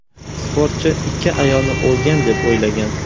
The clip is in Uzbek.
Sportchi ikki ayolni o‘lgan deb o‘ylagan.